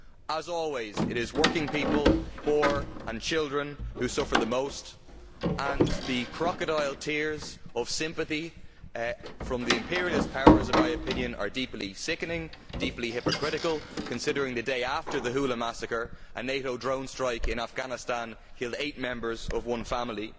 As always, it is working people, the poor and children who suffer the most and the crocodile tears of sympathy from the imperialist powers, in my opinion, are deeply sickening, deeply hypocritical considering that the day after the Houla massacre a NATO drone strike in Afghanistan killed eight members of one family.